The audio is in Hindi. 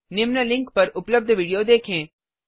निम्न लिंक पर उपलब्ध विडियो देखें